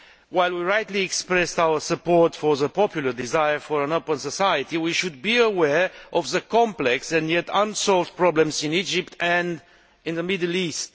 While we have rightly expressed our support for the popular desire for an open society, we should be aware of the complex, and yet unsolved, problems in Egypt and in the Middle East.